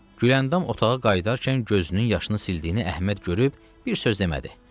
Gülandam otağa qayıdarkən gözünün yaşını sildiyini Əhməd görüb bir söz demədi.